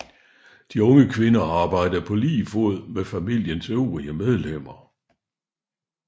De unge kvinder arbejdede på lige fod med familiens øvrige medlemmer